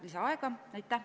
Lisaaega!